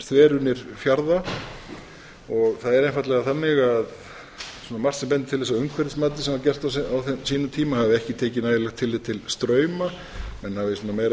þveranir fjarða það er einfaldlega þannig að margt sem bendir til að umhverfismatið sem var gert á sínum tíma hafi ekki tekið nægilegt tillit til strauma menn hafi meira verið